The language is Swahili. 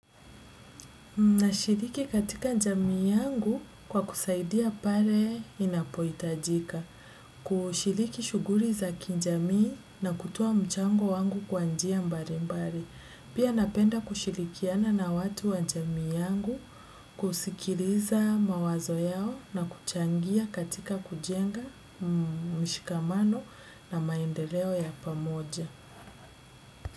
Nashiriki katika jamii yangu kwa kusaidia pale inapo hitajika. Kushiriki shughuli za kijamii na kutoa mchango wangu kwa njia mbali mbali. Pia napenda kushirikiana na watu wa jamii yangu kusikiriza mawazo yao na kuchangia katika kujenga mshikamano na maendeleo ya pamoja.